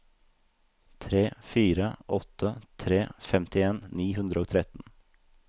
tre fire åtte tre femtien ni hundre og tretten